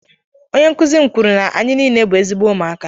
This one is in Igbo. onye nkuzi m kwuru na anyị niile bụ ezigbo ụmụaka